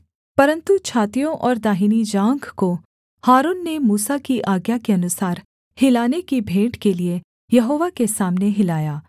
परन्तु छातियों और दाहिनी जाँघ को हारून ने मूसा की आज्ञा के अनुसार हिलाने की भेंट के लिये यहोवा के सामने हिलाया